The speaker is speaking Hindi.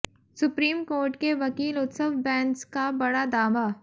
सुप्रीम कोर्ट के वकील उत्सव बैंस का बड़ा दावा